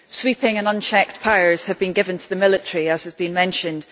Sweeping and unchecked powers have been given to the military, as has been mentioned.